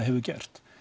gert